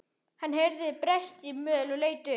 Hann heyrði bresta í möl og leit upp.